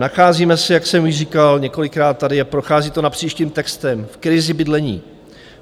Nacházíme se, jak jsem již říkal, několikrát tady a prochází to napříč tím textem, v krizi bydlení.